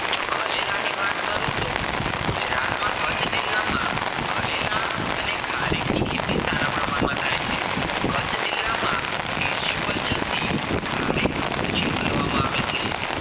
જો ખરેલની વાત કરું તો ગુજરાત માં કચ્છ જિલ્લામાં ખારેલ અને ખારેક ની ખેતી સારા પ્રમાણ થાય છે કચ્છ જિલ્લામાં થી ખારેક નો ઉછેર કરવામાં છે